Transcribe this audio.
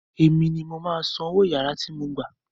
Èmi ni mo máa san owó yàrá tí mo gbà